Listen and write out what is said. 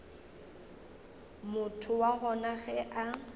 motho wa gona ge a